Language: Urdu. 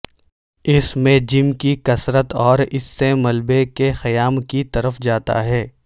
اس میں جم کی کثرت اور اس سے ملبے کے قیام کی طرف جاتا ہے